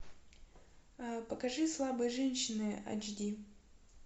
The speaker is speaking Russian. покажи слабые женщины айч ди